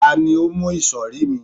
ta ni o mu isori mi